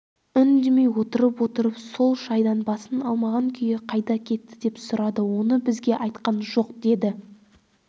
үндемей отырып-отырып сол шайдан басын алмаған күйі қайда кетті деп сұрады оны бізге айтқан жоқ деді